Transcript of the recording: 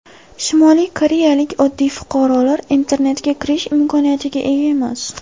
Shimoliy koreyalik oddiy fuqarolar internetga kirish imkoniyatiga ega emas.